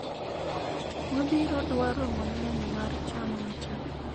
wabiro dwaro mang'eny mar chano weche go